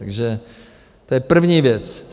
Takže to je první věc.